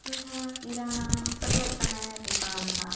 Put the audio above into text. यहाँ किराना छोटे कने दुकान ह।